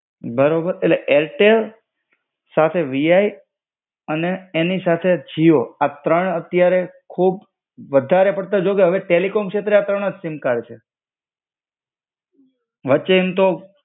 બરોબર, એટલે એરટેલ, સાથે VI અને એની સાથે જીઓ, આ ત્રણ અત્યારે ખુબ વધારે પડતા જો કે અવે ટેલિકોમ શેત્રે આ ત્રણજ સિમ કાર્ડ છે. વચ્ચે એમ તો